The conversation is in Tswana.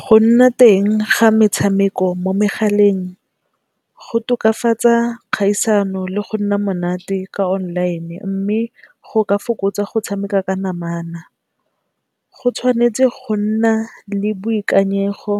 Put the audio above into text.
Go nna teng ga metshameko mo megaleng, go tokafatsa kgaisano le go nna monate ka online mme go ka fokotsa go tshameka ka namana. Go tshwanetse go nna le boikanyego